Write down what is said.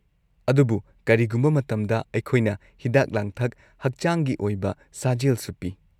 ꯑꯗꯨꯕꯨ ꯀꯔꯤꯒꯨꯝꯕ ꯃꯇꯝꯗ ꯑꯩꯈꯣꯏꯅ ꯍꯤꯗꯥꯛ-ꯂꯥꯡꯊꯛ ꯍꯛꯆꯥꯡꯒꯤ ꯑꯣꯏꯕ ꯁꯥꯖꯦꯜꯁꯨ ꯄꯤ꯫